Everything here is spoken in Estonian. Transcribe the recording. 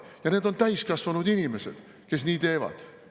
Ja need on täiskasvanud inimesed, kes nii teevad.